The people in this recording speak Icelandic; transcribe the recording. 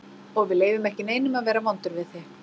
Og við leyfum ekki neinum að vera vondur við þig.